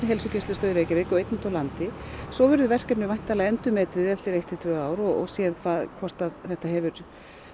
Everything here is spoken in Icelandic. heilsugæslustöð í Reykjavík og einni úti á landi svo verður verkefnið væntanlega endurmetið eftir eitt til tvö ár og séð hvort þetta hefur